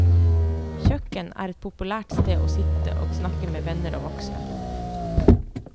Kjøkkenet er et populært sted å sitte og snakke med venner og voksne.